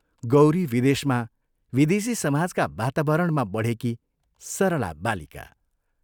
गौरी विदेशमा विदेशी समाजका वातावरणमा बढेकी सरला बालिका।